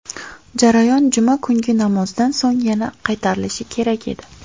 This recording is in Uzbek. Jarayon juma kungi namozdan so‘ng yana qaytarilishi kerak edi.